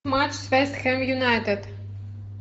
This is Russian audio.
матч с вест хем юнайтед